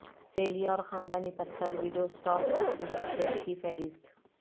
سیلی اور خاندانی پتھر وڈوسٹاک فیسٹیول سیٹ کی فہرست